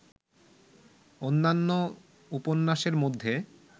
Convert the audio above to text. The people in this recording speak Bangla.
অন্যান্য উপন্যাসের মধ্যে